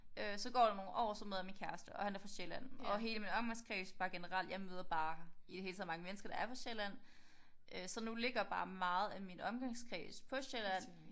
Øh så går der nogle år. Så møder jeg min kæreste og han er fra Sjælland. Og hele min omgangskreds bare generelt jeg møder bare i det hele taget mange mennesker der er fra Sjælland. Øh så nu ligger bare meget af min omgangskreds på Sjælland